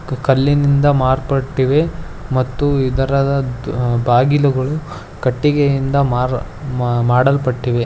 ಕಲ್ಲಿನಿಂದ ಮಾರ್ಪಟ್ಟಿದೆ ಮತ್ತು ಇದರ ದು ಬಾಗಿಲುಗಳು ಕಟ್ಟಿಗೆಯಿಂದ ಮಾ ಮಾಡಲ್ಪಟ್ಟಿದೆ.